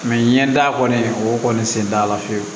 n ye da kɔni o kɔni sen t'a la fiyewu